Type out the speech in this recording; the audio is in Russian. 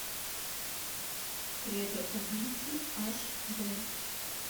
кредо убийцы аш д